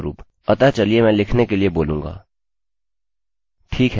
अतःचलिए मैं लिखने के लिए बोलूँगा